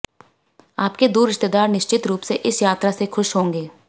आपके दूर रिश्तेदार निश्चित रूप से इस यात्रा से खुश होंगे